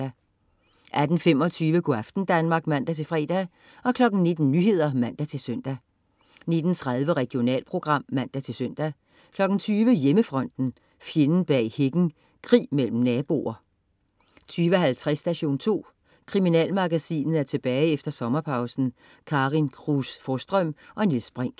18.25 Go' aften Danmark (man-fre) 19.00 Nyhederne (man-søn) 19.30 Regionalprogram (man-søn) 20.00 Hjemmefronten, fjenden bag hækken. Krig mellem naboer 20.50 Station 2. Kriminalmagasinet er tilbage efter sommerpausen. Karin Cruz Forsstrøm og Niels Brinch